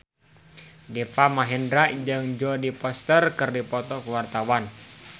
Deva Mahendra jeung Jodie Foster keur dipoto ku wartawan